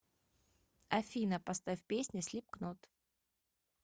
афина поставь песня слипкнот